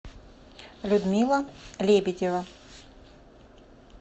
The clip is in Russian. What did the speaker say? людмила лебедева